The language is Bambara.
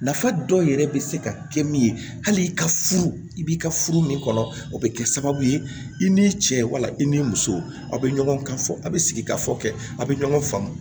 Nafa dɔ yɛrɛ bɛ se ka kɛ min ye hali i ka furu i b'i ka furu min kɔnɔ o bɛ kɛ sababu ye i ni cɛ wala i ni muso a bɛ ɲɔgɔn kan fɔ a bɛ sigi ka fɔ kɛ a bɛ ɲɔgɔn faamu